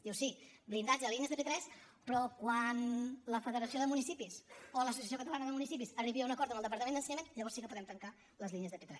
diu sí blindatge de línies de p3 però quan la federació de municipis o l’associació catalana de municipis arribi a un acord amb el departament d’ensenyament llavors sí que podem tancar les línies de p3